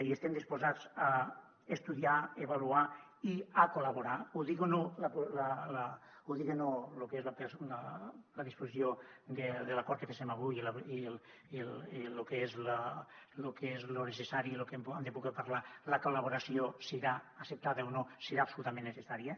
i estem disposats a estudiar a avaluar i a col·laborar ho diga o no lo que és la disposició de l’acord que féssem avui i lo que és lo necessari i lo que hem de poder parlar la col·laboració serà acceptada o no serà absolutament necessària